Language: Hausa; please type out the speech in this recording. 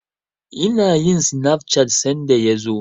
Ina yin sinaf cat sanda ya zo.